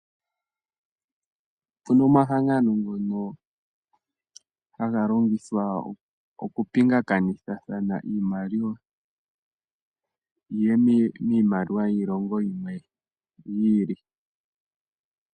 Opuna omahangano ngono aga longithwa okupingakanithathana iimaliwa yiye miimaliwa yiilongo yimwe yiili.